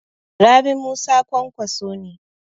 Rabi Musa Kwankwaso ne.